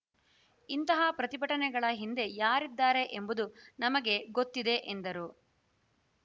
ಇಂತಹ ಪ್ರತಿಭಟನೆಗಳ ಹಿಂದೆ ಯಾರಿದ್ದಾರೆ ಎಂಬುದು ನಮಗೆ ಗೊತ್ತಿದೆ ಎಂದರು